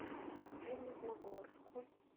железногорску